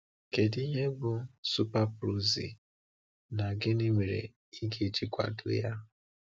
Kedu ihe bụ SuperProxy, na gịnị mere ị ga-eji kwado ya?